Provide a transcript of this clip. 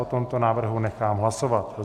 O tomto návrhu nechám hlasovat.